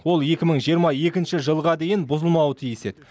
ол екі мың жиырма екінші жылға дейін бұзылмауы тиіс еді